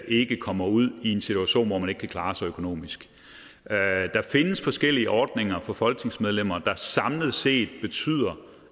ikke kommer ud i en situation hvor man ikke kan klare sig økonomisk der findes forskellige ordninger for folketingsmedlemmer der samlet set betyder